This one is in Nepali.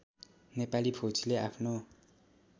नेपाली फौजीले आफ्नो